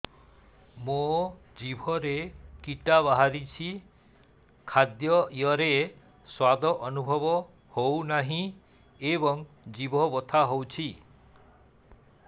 ମୋ ଜିଭରେ କିଟା ବାହାରିଛି ଖାଦ୍ଯୟରେ ସ୍ୱାଦ ଅନୁଭବ ହଉନାହିଁ ଏବଂ ଜିଭ ବଥା ହଉଛି